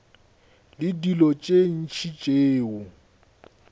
le dilo tše ntši tšeo